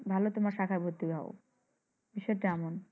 ভালো তোমার শাখায় ভর্তি হও বিষয়টা এমন।